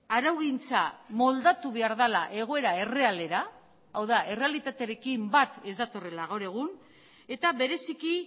araugintza moldatu behar dela egoera errealera hau da errealitatearekin bat ez datorrela gaur egun eta bereziki